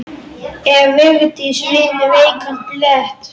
Ef Vigdís finnur veikan blett.